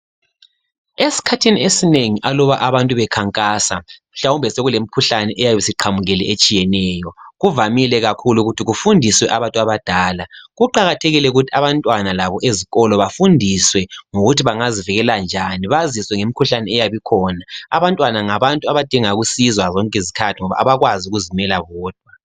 Esikhathini esinengi aluba abantu bekhankasa, mhlawumbe sekulemikhuhlane eyabe isiqhamukile etshiyeneyo. Kuvamile kakhulu ukuthi kufundiswe abantu abadala. Kuqakathekile ukuthi abantwana labo ezikolo bafundiswe ngokuthi bangazivikela njani baziswe ngemikhuhlane eyabe ikhona. Abantwana ngabantu abadinga ukusizwa zonke izikhathi ngoba abakwazi ukuzimela bodwa.